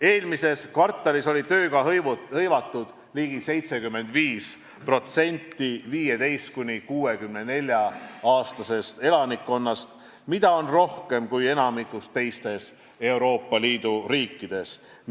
Eelmises kvartalis oli tööga hõivatud ligi 75% 15–64-aastastest elanikest, mida on rohkem kui enamikus teistes Euroopa Liidu riikides.